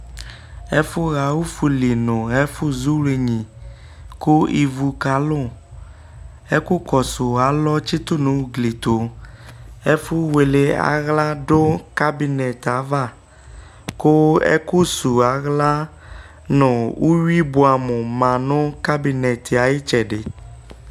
ɛfo ɣa ofuli no ɛfo zu wlenyi ko ivu ka lo ɛko kɔso alɔ tsi to no ugli to ɛfo wele ala do kabinet ava ko ɛko su ala no uwi boɛ amo ma no kabinet yɛ ayo itsɛdi